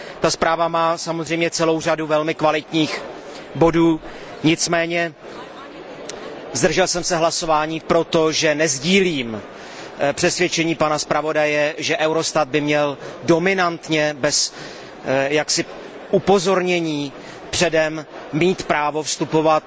Ta zpráva má samozřejmě celou řadu velmi kvalitních bodů, nicméně zdržel jsem se hlasování, protože nesdílím přesvědčení pana zpravodaje, že Eurostat by měl dominantně, bez jakéhokoli upozornění předem, mít právo vstupovat